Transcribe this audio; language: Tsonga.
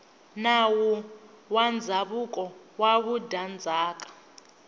nawu wa ndzhavuko wa vudyandzhaka